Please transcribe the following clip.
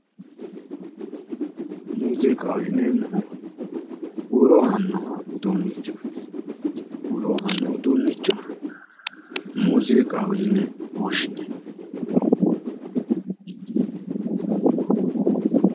Muziiqaho yinneemmohu huuro aanno uduunnicho muziiqaho yine woshshineemmo